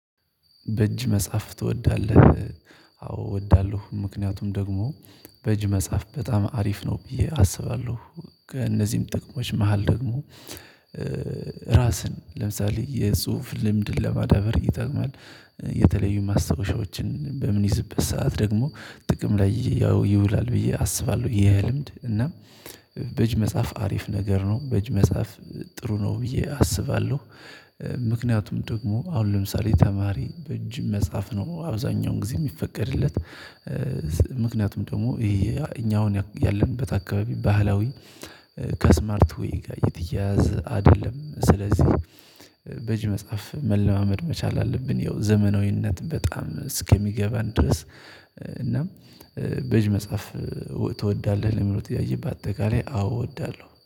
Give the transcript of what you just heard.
በእጅ መጻፍ ትወዳለህ? አዎ እወዳለሁ ምክንያቱም ደግሞ በእጅ መጻፍ በጣም አሪፍ ነው ብዬ አስባለሁ። ከእነዚህም ጥቅሞች መሃል ደግሞ ራስን ለምሳሌ የጽሁፍ ልምድን ለማዳበር ይጠቅማል። የተለዩ ማስታወሻዎችን በምንይዝበት ሰዓት ደግሞ ጥቅም ላይ ያው ይውላል ብዬ አስባለሁ። የልምድ እና በእጅ መጻፍ አሪፍ ነገር ነው በእጅ መጻፍ ጥሩ ነው ብዬ አስባለሁ። ምክንያቱም ደግሞ አሁን ለምሳሌ ተማሪ በእጅ መጽሐፍ ነው አብዛኛውን ጊዜ የሚፈቀድለት። ምክንያቱም ደግሞ ይሄ እኛ አሁን ያለንበት አካባቢ ባህላዊ ከስማርት ዌይ ጋር የተያያዘ አይደለም። ስለዚህ በእጅ መጻፍ መለማመድ መቻል አለብን። ያው ዘመናዊነት በጣም እስከሚገባን ድረስ እናም በእጅ መጻፍ ትወዳለህ ለሚለው ጥያቄ በአጠቃላይ አዎ እወዳለሁ